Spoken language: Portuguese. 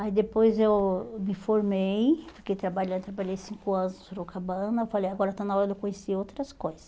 Aí depois eu me formei, fiquei trabalhando, trabalhei cinco anos no Sorocabana, falei, agora está na hora de eu conhecer outras coisa.